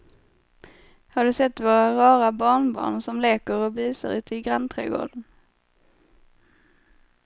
Har du sett våra rara barnbarn som leker och busar ute i grannträdgården!